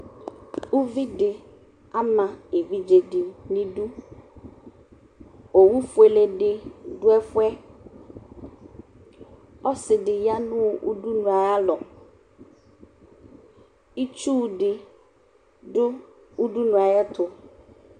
Uvi dɩ ama evidze dɩ nʋ idu Owufuele dɩ dʋ ɛfʋ yɛ Ɔsɩ dɩ ya nʋ udunu ayalɔ Itsu dɩ dʋ udunu yɛ ayɛtʋ